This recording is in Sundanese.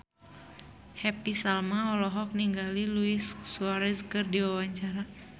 Happy Salma olohok ningali Luis Suarez keur diwawancara